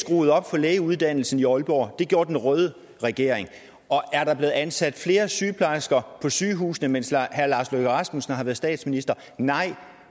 skruede op for lægeuddannelsen i aalborg det gjorde den røde regering og er der blevet ansat flere sygeplejersker på sygehusene mens herre lars løkke rasmussen har været statsminister nej